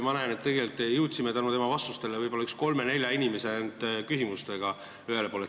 Ma näen, et me jõudsime tänu tema vastuste pikkusele võib-olla ainult kolme-nelja inimese küsimusega ühele poole.